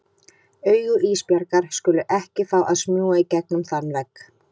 Augu Ísbjargar skulu ekki fá að smjúga í gegnum þann vegg.